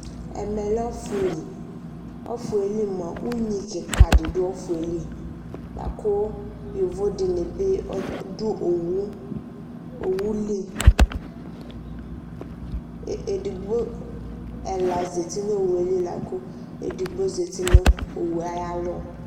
Ɛmɛ lɛ ɔfʋ li Ɔfʋ yɛ li mʋa, unyi kɩka dɩ dʋ ɔfʋ yɛ li La kʋ yovo dɩnɩ bɩ dʋ owu li edigbo, ɛla zati nʋ owu yɛ li la kʋ edigbo zati nʋ owu yɛ ayalɔ